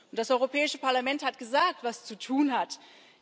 Das Europäische Parlament hat gesagt, was zu tun ist.